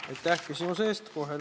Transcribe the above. Aitäh küsimuse eest!